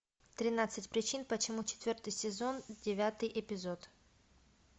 тринадцать причин почему четвертый сезон девятый эпизод